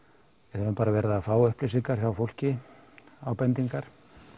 höfum bara verið að fá upplýsingar frá fólki ábendingar